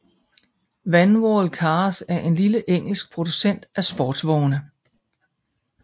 Vanwall Cars er en lille engelsk producent af sportsvogne